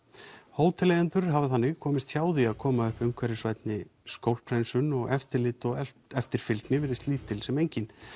hóteleigendur hafa þannig komist hjá því að koma upp umhverfisvænni skólphreinsun og eftirlit og eftirfylgni virðist lítil sem engin